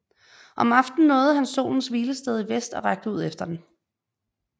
Om aftenen nåede han solens hvilested i vest og rakte ud efter den